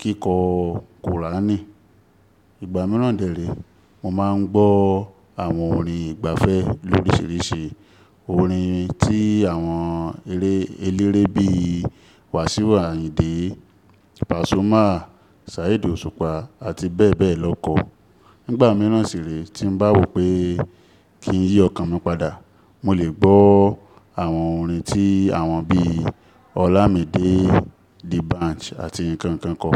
kíkọ́ kùránì. Ìgbà mìíràn dẹ rèé, mo máa ń gbọ́ àwọn orin ìgbafẹ́ l'oríṣiríṣi. Orin tí àwọn eléré bí i Wasiu Ayinde, Pasuma, Saheed Osupa àti bẹ́ẹ̀ bẹ́ẹ̀ lọ kọ. Nígbà míràn sì ré tí m bá wò pé kí n yí ọkàn mi padà, mo lè gbọ́ àwọn orin tí àwọn bí i Olamide, D'banj àti nkankan kọ.